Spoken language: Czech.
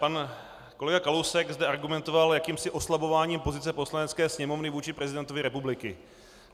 Pan kolega Kalousek zde argumentoval jakýmsi oslabováním pozice Poslanecké sněmovny vůči prezidentovi republiky.